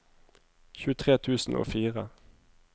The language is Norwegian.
tjuetre tusen og fire